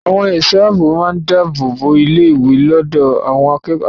Àwọn ẹ̀ṣọ́ ààbò máa dáàbò bo ilé-ìwé lọ́dọ̀ àwọn alátakò.